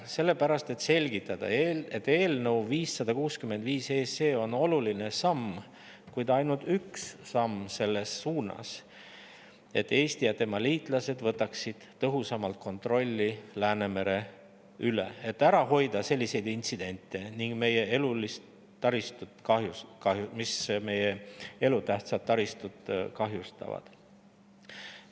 Sellepärast, et selgitada: eelnõu 565 on oluline samm, kuid ainult üks samm selles suunas, et Eesti ja tema liitlased võtaksid tõhusama kontrolli Läänemere üle, et ära hoida selliseid intsidente, mis meie elutähtsat taristut kahjustavad.